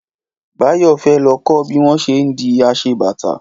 Báyọ̀ fẹ́ lọ kọ́ bí wọ́n ṣé ń di aṣebàtà